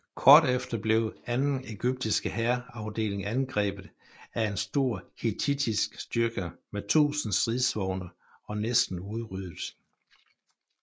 Kort efter blev den anden ægyptiske hærafdeling angrebet af en stor hittittisk styrke med 1000 stridsvogne og næsten udryddet